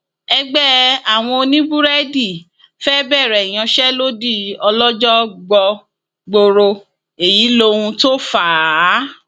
ẹgbẹ àwọn oníbúrẹdì fẹẹ bẹrẹ ìyanṣẹlódì ọlọjọ gbọgboro èyí lóhun tó fà á